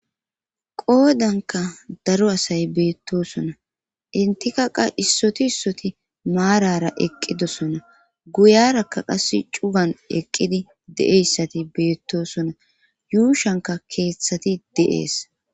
qoodanka daro asay beettosona intikaqa issoti issoti maarara eqqidosona guyarakka qass cugan eqqidi de7eyssati beettosona yuushanka keeththati de7ees